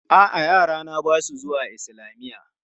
A'a, yarana ba su zuwa islamiyya.